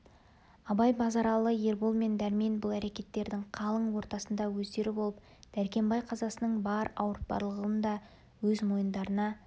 абай базаралы ербол мен дәрмен бұл әрекеттердің қалың ортасында өздері болып дәркембай қазасының бар ауыртпалығын да өз мойындарына